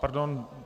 Pardon.